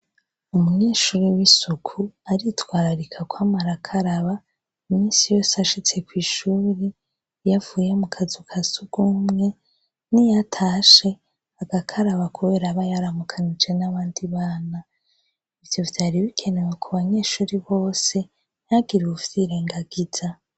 Umunyeshuri w'isuku aritwararika kwama arakaraba iminsi yose ashitse kw'ishuri, iyo avuye mu kazu ka s'urw'umwe, niyo atashe agakaraba kubera aba yaramukanije n'abandi bana, ivyo vyari bikenewe ku banyeshuri bose ntihagire uwuvyirengagiza.